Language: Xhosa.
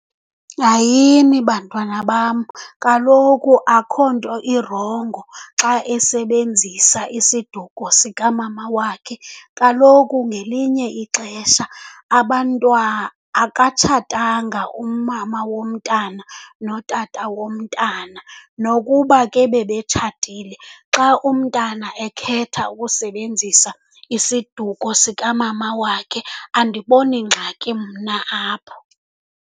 Hayini, bantwana bam, kaloku akukho nto irongo xa esebenzisa isiduko sikamama wakhe kaloku ngelinye ixesha akatshatanga umama womntana notata womntana. Nokuba ke bebetshatile, xa umntana ekhetha ukusebenzisa isiduko sikamama wakhe andiboni ngxaki mna apho.